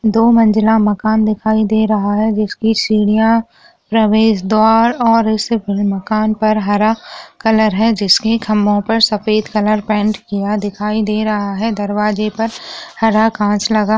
दो मज़िल मकान दिखाई दे रहा है जिसकी सीढिया प्रवेश द्वार और मकान पर हरा कलर है जिसके खम्बो पर सफेद कलर पेंट किया दिखाई दे रहा है दरवाजे पर हरा कांच लगा --